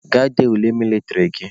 Gaa dee ule mịlịtrị gị!